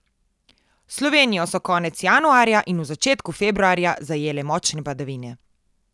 Slovenijo so konec januarja in v začetku februarja zajele močne padavine.